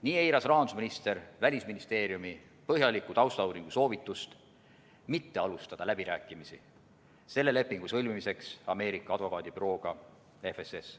Nii eiras rahandusminister Välisministeeriumi põhjaliku taustauuringu soovitust mitte alustada läbirääkimisi selle lepingu sõlmimiseks Ameerika advokaadibürooga FSS.